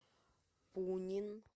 пунин